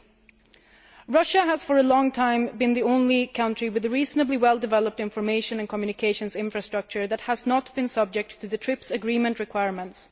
8. Russia has for a long time been the only country with a reasonably well developed information and communications infrastructure that has not been subject to the TRIPS agreement requirements.